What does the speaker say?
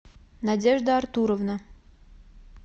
надежда артуровна